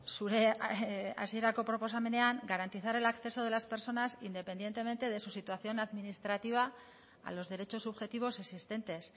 zure hasierako proposamenean garantizar el acceso de las personas independientemente de su situación administrativa a los derechos subjetivos existentes